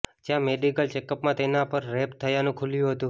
જ્યાં મેડિકલ ચેકઅપમાં તેના પર રેપ થયાનું ખૂલ્યું હતું